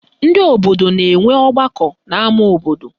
Ndị obodo na-enwe ọgbakọ n'ama obodo